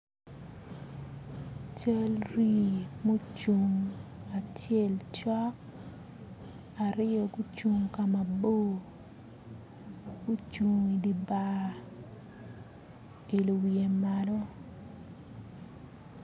Cal rii mucung acel cok aryo gucung ka mabor gucung i di bar oilo wiye malo